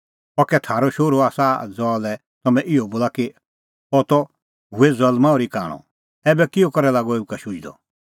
अह कै थारअ शोहरू आसा ज़हा लै तम्हैं इहअ बोला कि अह त हुऐ ज़ल्मां ओर्ही कांणअ ऐबै किहअ करै लागअ एऊ का शुझदअ